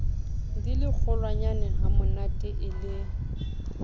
di le kgolwanyanehamonate e le